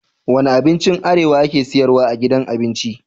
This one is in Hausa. Wane abincin arewa ake siyarwa a gidan abinci?